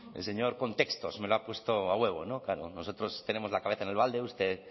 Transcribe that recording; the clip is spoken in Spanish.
el señor contextos me lo ha puesto a huevo no claro nosotros tenemos la cabeza en el balde usted